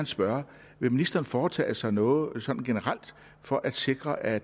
spørge vil ministeren foretage sig noget sådan generelt for at sikre at